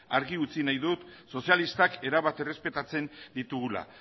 argi utzi nahi dut sozialistak erabat errespetatzen ditugula